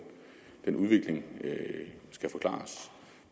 den udvikling skal forklares